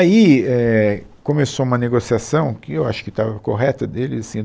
Aí, é, começou uma negociação que eu acho que estava correta deles assim